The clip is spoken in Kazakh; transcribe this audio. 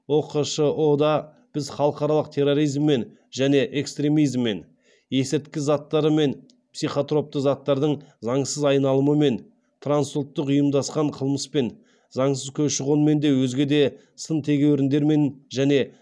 ұқшұ да біз халықаралық терроризммен және экстремизммен есірткі заттары мен психотропты заттардың заңсыз айналымымен трансұлттық ұйымдасқан қылмыспен заңсыз көші қонмен де өзге де сын тегеуіріндермен және